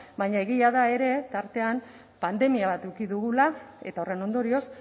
baina egia da ere tartean pandemia bat eduki dugula eta horren ondorioz